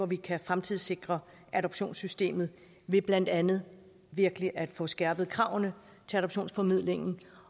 vi kan fremtidssikre adoptionssystemet ved blandt andet virkelig at få skærpet kravene til adoptionsformidlingen